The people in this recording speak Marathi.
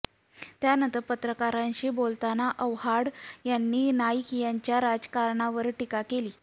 त्यानंतर पत्रकारांशी बोलताना आव्हाड यांनी नाईक यांच्या राजकारणावर टीका केली